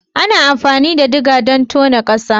Ana amfani da digger don tono ƙasa